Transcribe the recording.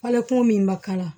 Falen kun min ma k'a la